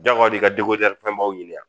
Jagoya don i ka fɛnbaw ɲini wa ?